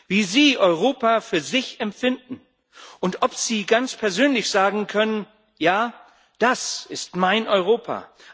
Wie sie Europa für sich finden und ob sie ganz persönlich sagen können Ja, das ist mein Europa.